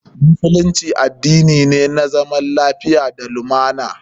Musulunci addini ne na zaman lafiya da lumana.